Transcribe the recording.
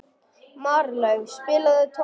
Marlaug, spilaðu tónlist.